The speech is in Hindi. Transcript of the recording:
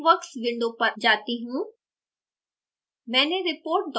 अब मैं texworks window पर जाती हूँ